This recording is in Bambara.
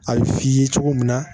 A bɛ f'i ye cogo min na